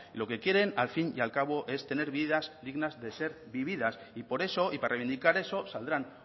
lo que quieren al fin y al cabo es tener vidas dignas de ser vividas y por eso y para reivindicar eso saldrán